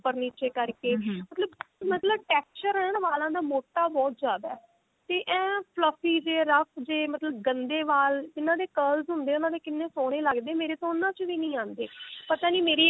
ਉੱਪਰ ਨੀਚੇ ਕਰਕੇ ਮਤਲਬ ਮਤਲਬ texture ਵਾਲਾਂ ਦਾ ਮੋਟਾ ਬਹੁਤ ਜਿਆਦਾ ਤੇ ਇਹ fluffy ਜੇ rough ਜੇ ਮਤਲਬ ਗੰਦੇ ਵਾਲ ਜਿਨ੍ਹਾਂ ਦੇ curls ਹੁੰਦੇ ਹੈ ਉਹਨਾ ਦੇ ਕਿੰਨੇ ਸੋਹਣੇ ਲੱਗਦੇ ਮੇਰੇ ਤਾਂ ਉਹਨਾ ਚ ਵੀ ਨਹੀਂ ਆਉਂਦੇ